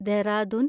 Dehradun